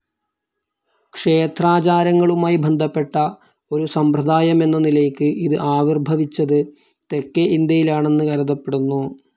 ക്ഷേത്രാചാരങ്ങളുമായി ബന്ധപ്പെട്ട ഒരു സമ്പ്രദായമെന്ന നിലയ്ക്ക് ഇത് ആവിർഭവിച്ചത് തെക്കേ ഇന്ത്യയിലാണെന്ന് കരുതപ്പെടുന്നു.